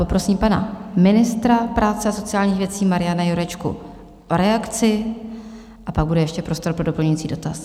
Poprosím pana ministra práce a sociálních věcí Mariana Jurečku o reakci a pak bude ještě prostor pro doplňující dotaz.